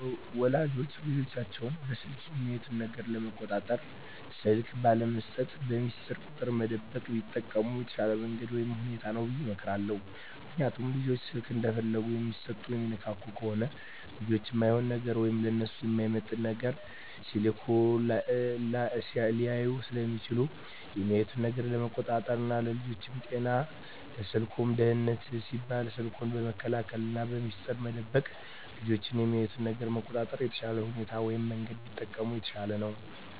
ወላጆች ልጆቻቸውን በስልክ የሚያዩት ነገር ለመቆጣጠር ስልክ ባለመስጠት፣ በሚስጥር ቁጥር መደበቅ ቢጠቀሙ የተሻለ መንገድ ወይም ሁኔታ ነው ብየ እመክራለሁ። ምክንያቱም ልጆች ስልክ እንደፈለጉ የሚሰጡና የሚነካኩ ከሆነ ልጆች እማይሆን ነገር ወይም ለነሱ የማይመጥን ነገር ስልኩ ላይ ሊያዩ ስለሚችሉ የሚያዩትን ነገር ለመቆጣጠር ና ለልጆቹም ጤና ለስልኩም ደህንነት ሲባል ስልኩን በመከልከልና በሚስጥር መደበቅ ልጆች የሚያዩትን ነገር ለመቆጣጠር የተሻለ ሁኔታ ወይም መንገድ ቢጠቀሙ የተሻለ ነው።